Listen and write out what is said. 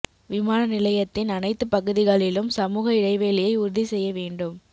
விமான நிலையத்தின் அனைத்து பகுதிகளிலும் சமூக இடைவெளியை உறுதி செய்ய வேண்டும்